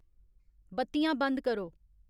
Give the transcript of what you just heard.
बत्तियां बंद करो